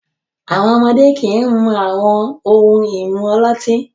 Àwọn ọmọdé kì í mu àwọn ohun-ìmu ọlọ́tí.